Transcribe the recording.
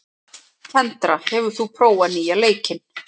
Kendra, hefur þú prófað nýja leikinn?